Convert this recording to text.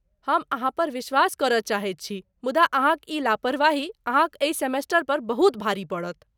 हम अहाँपर विश्वास करय चाहैत छी, मुदा अहाँक ई लापरवाही अहाँक एहि सेमेस्टर पर बहुत भारी पड़त।